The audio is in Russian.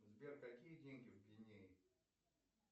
сбер какие деньги в гвинее